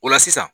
O la sisan